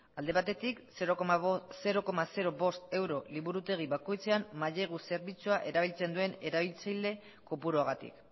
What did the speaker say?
alde batetik zero koma bost euro liburutegi bakoitzean mailegu zerbitzua erabiltzen duen erabiltzaile kopuruagatik